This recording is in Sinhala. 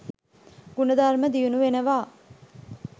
ගුණධර්ම දියුණු වෙනවා.